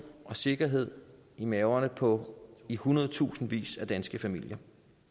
og sikkerhed i maverne på i hundredtusindvis af danske familier